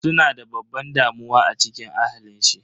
Suna da babban damuwa a cikin ahalin shi.